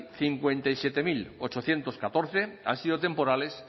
cincuenta y siete mil ochocientos catorce han sido temporales